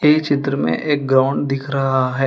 इस चित्र में एक ग्राउंड दिख रहा है।